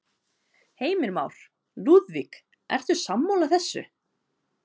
Heimir Már: Lúðvík, ertu sammála þessu?